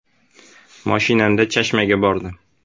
Mashinamda Chashmaga bordim.